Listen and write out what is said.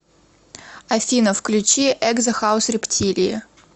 афина включи экзо хаус рептилии